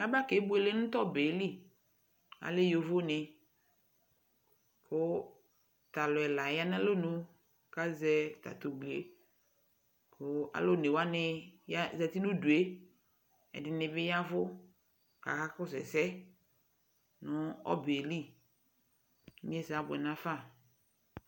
Aba kebuele nʋ tʋ ɔbɛ yɛ li Alɛ yovoni kʋ atalʋ ɛla ya n'alɔ nu k'azɛ ta tʋ ubui kʋ alʋ onewanɩ zati n'udu yɛ Ɛdɩnɩ bɩ yavʋ k'aka kɔsʋ ɛsɛ nʋ ɔbɛ yɛ li k'inyesɛ abʋɛ n'afa